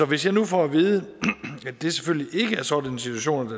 hvis jeg nu får at vide at det selvfølgelig ikke er sådan en situation